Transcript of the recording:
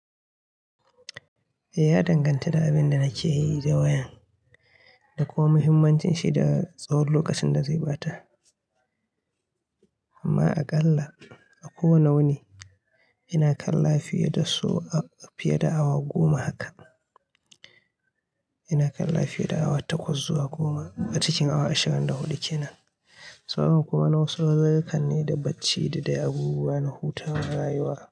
Eh, ya danganta da abin da nake yi da wayan da kuma muhimmancin shi da tsahon lokacin da zai ɓata. Amma aƙalla a kowane wuni ina kalla fiye da awa goma haka. Ina kalla fiye da awa takwas zuwa goma a cikin awa ashirin da hudu kenan. Saboda kuma na wasu uzuzurukanne ne da bacci da dai abubuwa na hutawa rayuwa.